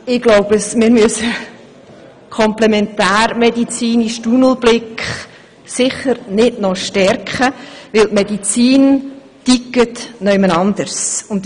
Ich glaube, wir müssen den komplementärmedizinischen Tunnelblick sicher nicht noch stärken, denn die Medizin tickt anderswo.